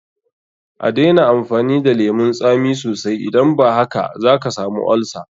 A daina amfani da lemun tsami sosai, idan ba haka zaka samu olsa.